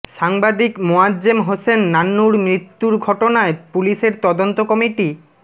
সাংবাদিক মোয়াজ্জেম হোসেন নান্নুর মৃত্যুর ঘটনায় পুলিশের তদন্ত কমিটি